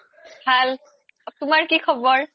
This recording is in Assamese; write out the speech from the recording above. ভাল তুমাৰ কি খবৰ